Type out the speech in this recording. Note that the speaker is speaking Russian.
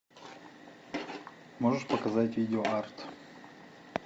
можешь показать видеоарт